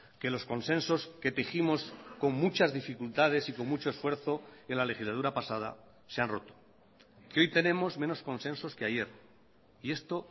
que los consensos que tejimos con muchas dificultades y con mucho esfuerzo en la legislatura pasada se han roto que hoy tenemos menos consensos que ayer y esto